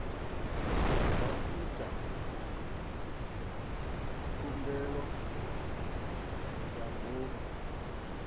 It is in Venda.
nga ita khumbelo ya ngomu